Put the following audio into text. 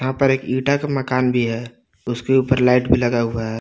यहाँ पर एक ईटा का मकान भी है उसके ऊपर लाइट भी लगा हुआ है।